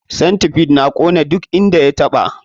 Centipide na kona duk inda ya taɓa.